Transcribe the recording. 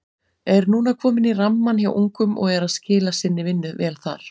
Er núna kominn í rammann hjá ungum og er að skila sinni vinnu vel þar.